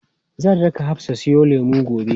Zan raka Hafsa siyo lemu gobe.